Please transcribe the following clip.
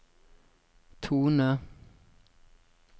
tone